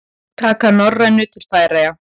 Taka Norrænu til Færeyja?